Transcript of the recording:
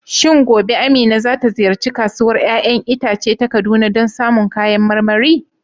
Shin gobe Amina za ta ziyarci Kasuwar 'ya'yan itace ta Kaduna don samun kayan marmari?